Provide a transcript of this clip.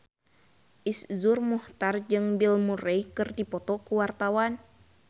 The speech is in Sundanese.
Iszur Muchtar jeung Bill Murray keur dipoto ku wartawan